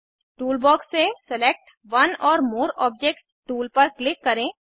tool box से select one or more objects tool पर click करें